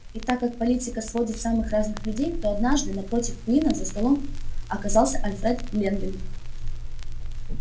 и так как политика сводит самых разных людей то однажды напротив куинна за столом оказался альфред лэнвинг